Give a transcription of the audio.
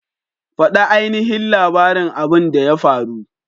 Fada ainihin labarin abin da ya faru!